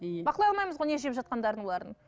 бақылай алмаймыз ғой не жеп жатқандарын олардың